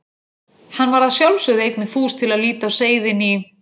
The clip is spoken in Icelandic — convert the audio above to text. Hann var að sjálfsögðu einnig fús til að líta á seiðin í